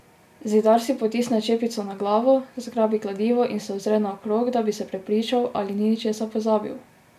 Zidar si potisne čepico na glavo, zgrabi kladivo in se ozre naokrog, da bi se prepričal, ali ni česa pozabil.